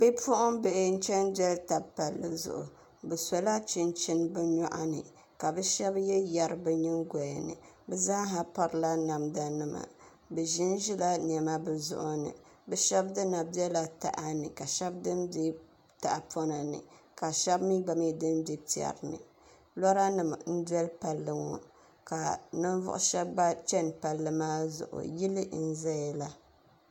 bipuɣimbihi n-chana doli taba pallli zuɣu bɛ solo chinchini bɛ nyɔɣu ni ka bɛ shaba ye yari bɛ nyingoya ni bɛ zaa ha pirila namdanima bɛ ʒin n ʒila nema bɛ zuɣu ni bɛ shɛba dini bela taha ni ka shɛba dini be tahipɔna ni ka shɛba mi gba mi dini be piɛri ni lɔranima n-doli palli ŋɔ ka ninvuɣ' shɛba gba chana palli maa zuɣu yili n zayala